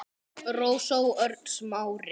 Rósa og Örn Smári.